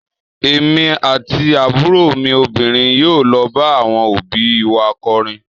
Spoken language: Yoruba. Èmi àti àbúrò mi obìnrin yóò lọ bá àwọn òbí í wa kọrin.